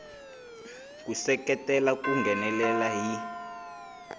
ku seketela ku nghenelela hi